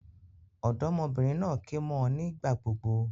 Òdómọbìnrin naa ké mó ọ nígbà gbogbo